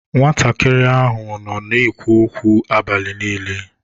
Nwatakịrị ahụ nọ na-ekwu okwu abalị niile.